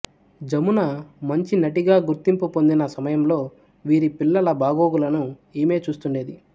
జమున మంచి నటిగా గుర్తింపు పొందిన సమయంలో వీరి పిల్లల బాగోగులని ఈమె చూస్తుండేది